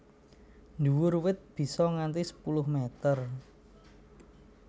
Dhuwur wit bisa nganti sepuluh meter